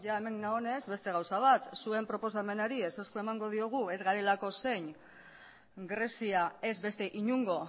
eta beno hemen nagonez beste gauza bat zuen proposamenari ezezkoa emango diogu ez garelako zein grezia ez beste inongo